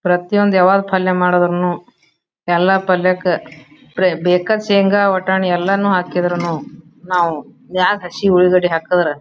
ಪ್ರತಿಯೊಂದು ಯಾವಾಗ್ ಪಲ್ಯ ಮಾಡಿದ್ರುನು ಎಲ್ಲಾ ಪೆಲ್ಯಾಕ ಪ್ರೆ ಬೇಕ ಶೇಂಗಾ ವಟಾಣಿ ಎಲ್ಲಾನು ಹಾಕಿದ್ರುನು ನಾವು ಮ್ಯಾಗ್ ಹಸಿ ಒಲ್ಗಡಿ ಹಾಕಿದ್ರ--